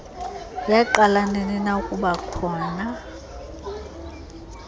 yaqala ninina ukubakhona